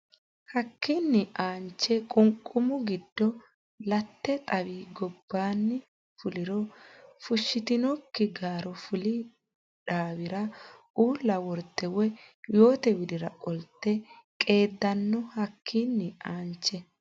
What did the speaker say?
Hakkiinni aanche qunqumu godo lete xawi gobbaanni fuliro fushshitinokki garo fuli dhaawara uulla worte woy yoote widira qolte qeeddanno Hakkiinni aanche.